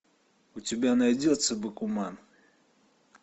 у тебя найдется бакуман